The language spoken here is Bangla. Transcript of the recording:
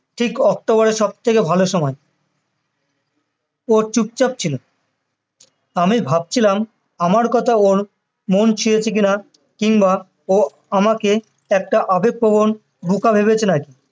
ঠিক অক্টোবররের সবথেকে ভালো সময় ও চুপচাপ ছিল আমি ভাবছিলাম আমার কথায় ওর মন ছেয়েছে কি না কিংবা ও আমাকে একটা আবেগ প্রবন বোকা ভেবেছে না কি